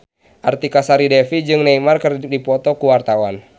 Artika Sari Devi jeung Neymar keur dipoto ku wartawan